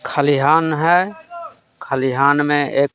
खलिहान है खलिहान में एक--